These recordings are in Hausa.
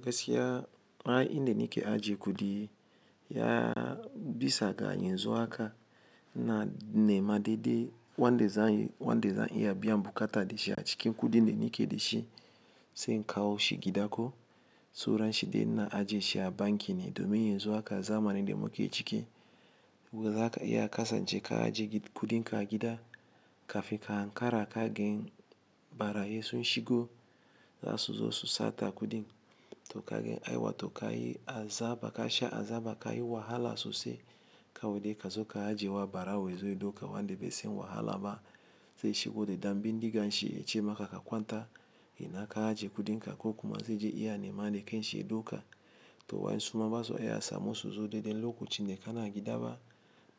Gaskiya, ma inde nike aji kudi ya bisaga yanzu haka na ne ma deedee wande za, wande za iya biyan bukata da shi a cikin kudi inde nike da shi sai in kawo shi gida ko, suran shi de na ajiye shi a banki ne domin yanzu haka zamanin da muke ciki, wuri za ka iya kasa jika ajiye kudinka gida kafi ka hankara ka gen barayi sun shigo za su zo su sata kudi. To ka gen aiwa to ka yi azaba ka sha azaba ka yi wahala sosai. Kawai dai ka zo ka ajiye wa bara wai zai dauka wanda bai sen wahala ba sai shigo da dambe diga shi ya ci maka ka kwanta. Ina ka ajiye kudin ka ko kuma zai je iya ne ma da kanshi ya dauka. To wani suma ba za su iya samun su zo daidai lokacin da ka na gida ba.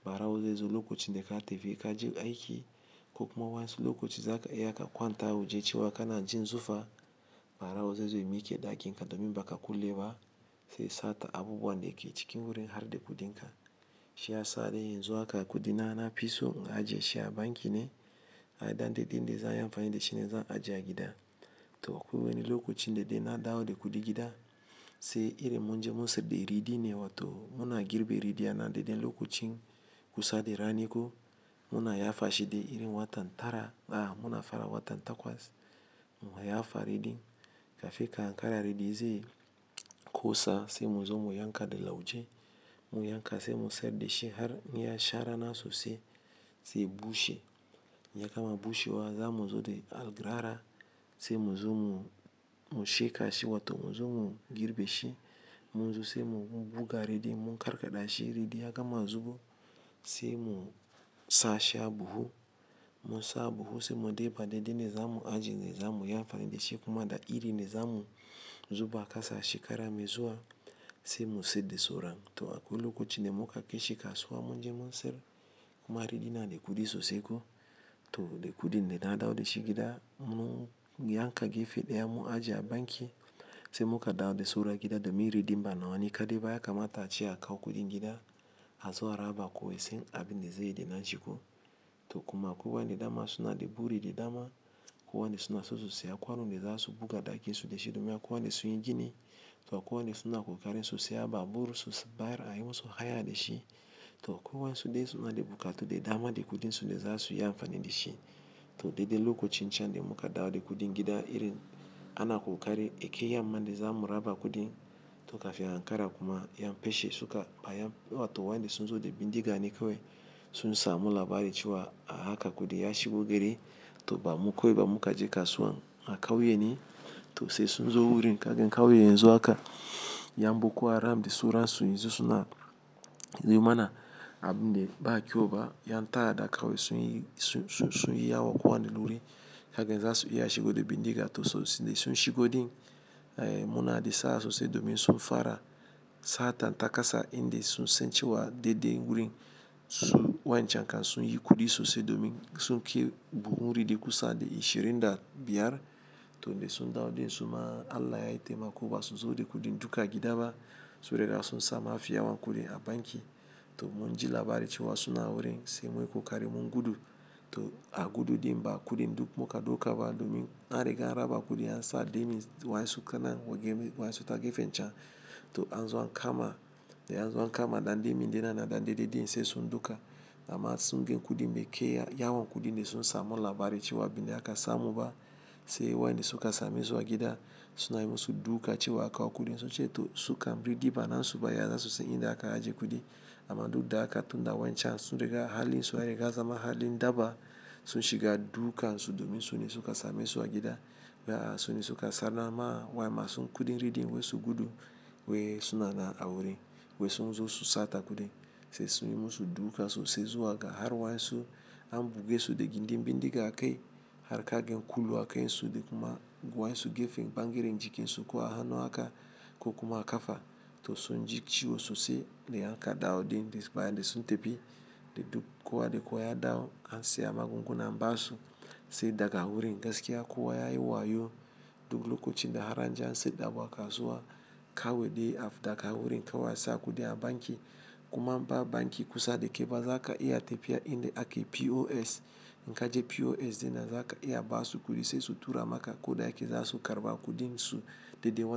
Bara wai zai zo lokacin da ka tafi ka je aiki ko kuma wani lokaci za ka iya ka kwanta waje cewa ka na jin zufa. Bara wai zai zo ya miike dakin ka domin ba ka kulle ba sai sata abu wanda yake cikin wurin har da kudinka. Shi ya sa dai yanzu haka kudi na, na pisu na ajiye shi a banki ne. Ai dan daidai inde za'a yi amfani da shi ne zan ajiye gida. To akwai wani lokacin daidai na dawo da kudi gida sai irin mun je mun sade ridi ne wai to muna girbe ridi ya na daidai lokacin kusa de raniko. Muna yafa shi dai irin watan tara. A muna fara watan takwas mu yafa ridi kafin ka hankara ridi zai kosa sai mu zo mu yanka da lauje. Mu yanka saimu siyar dashi har in yasha rana sosai zai bushe. Ya kama bushe wa za mu zo de algarara sai mu zo mu sheka shi wai to mu zo mu girbe shi. Mu zo sai mu buga ridi mu karkaɗa shi ridi ya gama zubo sai mu sa shi a buhu. Mu sa a buhu sai mu deba daidai na zamu ajiye. Zamu yi amfani da shi kuma da iri na zamu zuba kasa she kara mai zuwa sai mu saide sauran. To akwai lokacin da muka kai shi kasuwa mun je mun sayar. Kuma ridi na da kudi sosai ko. To da kudi na da dawo da shi gida mun yanka gefe da ya mun ajiye a banki. Sai muka dawo da saura gida domin ridi dimba na wani ka deba ya kama ta ci a kawo kudi gida. A zo a raba ko wa'i sen abin de zai yi da na ji ko. To kuma akwai wanda dama suna deburi da dama. Akwai wanda suna sosai kwano wanda za su buga daki su da shi domin akwai wanda sun yi gini. To akwai wanda suna kokarin su saya ba bur su bayar a yi musu haya da shi. To akwai wanda dai suna debuka tu da dama da kudin su ne za su yi amfani da shi. To daidai lokacin can da muka dawo da kudin gida irin ana kokari yake yamman da zamu raba kudin to kafi ka hankara kuma yam fashi suka baya. Wa to wanda sun zo da bindiga ne kawai sun samu labari cewa a haka kudi ya shigo gari. To ba mu kawai ba muka je kasuwa akauye ne. To sai sun zo wurin ka gen kawai yanzu haka yan boko haram da sauran su yan zusu suna. Yimana abunda bakyauba 'yanta adda kawai sunyi yawa kowani wuri. Ka gen za su iya shigo da bindiga to sosai sai sun shigo din. Eh muna dai sa sosai domin sun fara satan takasa inde sun san cewa daidai wurin su wancan kan sun yi kudi sosai domin sun ƙi buhun ridi kusa de ashirin da biyar. To de sun dawo din suma Allah ya taimako ba su zo da kudi duk a gida ba. Sun riga sun sa mafiya wan kudi a banki. To mun ji labari cewa suna wurin sai mun yi kokari mun gudu. To a gudu din ba kudin duk muka ɗauka ba domin an riga an raba kudi an sa demis wain su tanan wayen wai suta gefen can. To an zo an kama dai an zo an kama dan demi na na dan daidai din sai sun duka amma sun ga kudin beke yawan kudin de sun samu labari cewa abinda aka samu ba. Sai wain de suka same suwa gida suna yi musu duka cewa aka awo kudi sun ce to sukam ridi ban a su baya za su sayi inde aka ajiye kudi. Amma duk da haka tun dawan can sun riga halin su har riga zaman halin dabba. Sun shiga dukansu domin sune suka samesu a gida. Bayan sune suka sanar ma wai masu kudin ridin wai su gudu wai suna nan a wurin wai sun zo su sata kudi. Sai sun yi musu duka sosai zuwa ga har wansu an buge su da gindin bindiga a kai har ka gen kulu a kai su da kuma wansu gefen bangeren jikin su kowa a hannu haka ko kuma a kafa. To sun ji ciwo sosai dai an ka dawo din dai baya dai sun tafi da duk kowa da kowa ya dawo an saya magunguna an ba su sai daga wurin gaskiya kowa yayi wayo. Duk lokacin da har an je ansiyar da abu a kasuwa kawai dai afda ka wurin kawai saku dai a banki kuma ba banki kusa de ke ba za ka iya tafiya inde ake POS. In ka je POS dai na za ka iya ba su kudi sai su tura maka koda yake za su karba kudin su daidai wane.